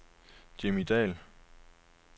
Jimmy Dahl